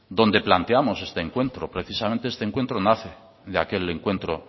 donde planteamos este encuentro precisamente este encuentro nace de aquel encuentro